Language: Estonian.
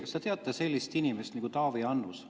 Kas te teate sellist inimest nagu Taavi Annus?